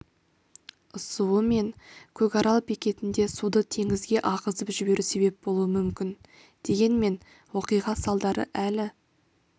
ысуы мен көкарал бекетінде суды теңізге ағызып жіберу себеп болуы мүмкін дегенмен оқиға салдары әлі